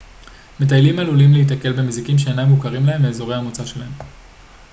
מטיילים עלולים להיתקל במזיקים שאינם מוכרים להם מאזורי המוצא שלהם